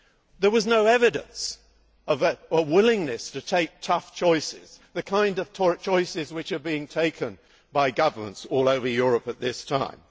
There was no evidence of a willingness to take tough choices, the kind of choices which are being taken by governments all over Europe at this time.